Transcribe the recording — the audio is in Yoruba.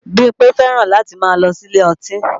Bímpé fẹ́ràn láti máa lọ sí ilé ọtí